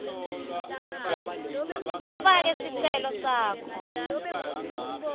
ufake sicelo sakho